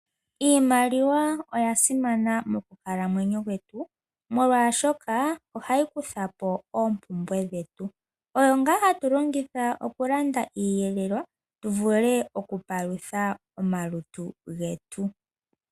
Iimaliwa oya simana mokukalamwenyo kwetu, molwa shoka ohayi kuthapo oompumbwe dhetu. Oyo nga hatu longitha okulanda iiyelelwa tuvule okupalutha omalutu getu.